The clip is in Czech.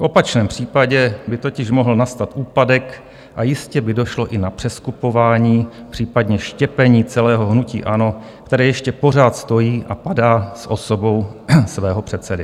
V opačném případě by totiž mohl nastat úpadek a jistě by došlo i na přeskupování, případně štěpení celého hnutí ANO, které ještě pořád stojí a padá s osobou svého předsedy.